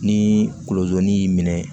Ni kolozo ni y'i minɛ